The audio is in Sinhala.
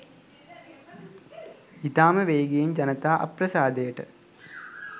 ඉතාම වේගයෙන් ජනතා අප්‍රසාදයට